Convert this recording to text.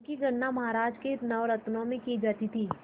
उनकी गणना महाराज के नवरत्नों में की जाती थी